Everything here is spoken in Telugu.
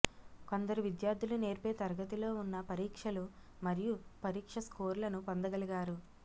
కొందరు విద్యార్ధులు నేర్పే తరగతిలో ఉన్న పరీక్షలు మరియు పరీక్ష స్కోర్లను పొందగలిగారు